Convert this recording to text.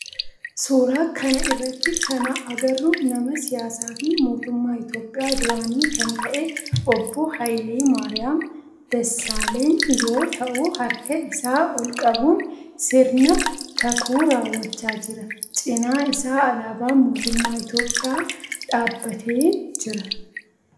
Suuraa kana irratti kana agarru nama siyaasaa fi mootummaa Itiyoophiyaa duraanii kan ta'e obboo Haayile Maariyam Dassaaleny yoo ta'u harka isaa ool qabuun sirna kakuu raawwachaa jira. Cinaa isaa alaabaan mootummaa Itiyoophiyaa dhaabbatee jira.